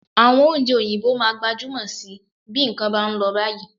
Àwọn oúnjẹ òyìnbó máa gbajúmọ̀ síi bí nǹkan bá ń lọ báyìí